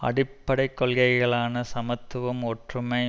அடிப்படை கொள்கைகளான சமத்துவம் ஒற்றுமை